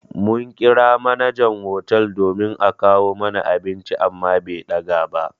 Mun ƙira manajan hotel domin a kawo mana abinci amma be ɗaga ba.